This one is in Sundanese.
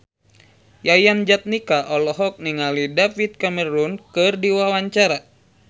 Yayan Jatnika olohok ningali David Cameron keur diwawancara